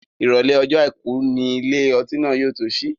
Ìrọ̀lẹ́ ọjọ́ àìkú ni ilé ọtí náà yóò tó sí.